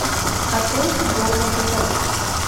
открой футбол на тв